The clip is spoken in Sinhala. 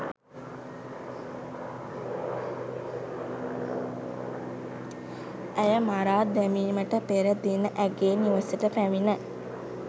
ඇය මරා දැමිමට පෙර දින ඇගේ නිවසට පැමිණ